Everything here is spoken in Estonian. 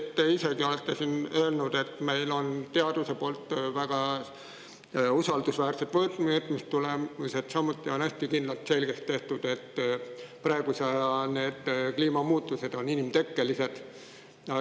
Te isegi ütlesite, et meil on teadusest võtta väga usaldusväärsed mõõtmistulemused, samuti, et on hästi kindlalt selgeks tehtud see, et praeguse aja kliimamuutused on inimtekkelised.